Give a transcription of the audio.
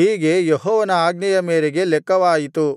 ಹೀಗೆ ಯೆಹೋವನ ಆಜ್ಞೆಯ ಮೇರೆಗೆ ಲೆಕ್ಕವಾಯಿತು